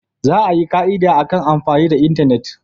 Za a yi ka'ida akan amfani da intanet.